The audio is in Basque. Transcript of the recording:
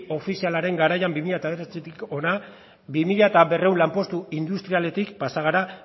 ofizialaren garaian bi mila bederatzitik hona bi mila berrehun lanpostu industrialetik pasa gara